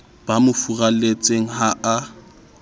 ba mo furalletseng ha a